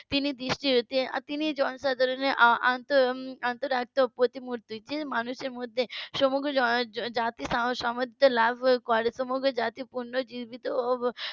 তিনি দৃষ্টির যে তিনি জনসাধারণের অন্তরাত্মার প্রতিমূর্তি যে মানুষের মধ্যে সমগ্র জনজাতির . লাভ করে সমগ্র জাতি পূর্ণজীবিত ও